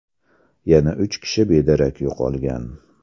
Yana uch kishi bedarak yo‘qolgan.